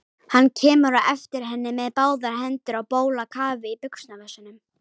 Hann kemur á eftir henni með báðar hendur á bólakafi í buxnavösunum.